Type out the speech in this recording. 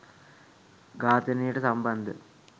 ඝාතනයට සම්බන්ධ